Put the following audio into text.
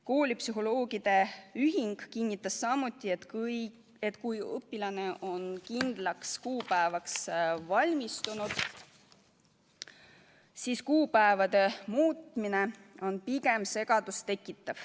Koolipsühholoogide ühing kinnitas samuti, et kui õpilane on kindlaks kuupäevaks valmistunud, siis kuupäevade muutmine tekitab pigem segadust.